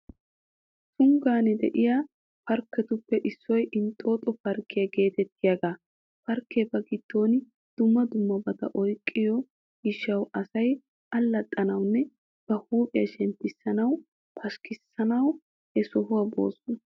Tunggan de'iyaa parkketuppe issoy Inxxooxo parkkiyaa geetettiyaaga. Parkkee ba giddon dumma dummabata oyqqiyoo gishshauw asay allaxxanawunne ba huuphiyaa shemppissanawu, pashkkissanawu he sohuwaa boosona.